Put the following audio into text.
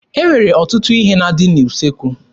E nwere ọtụtụ ihe na-adị n'usekwu